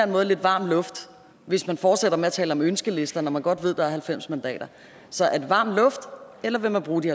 måde lidt varm luft hvis man fortsætter med at tale om ønskesedler når man godt ved at der er halvfems mandater så er det varm luft eller vil man bruge de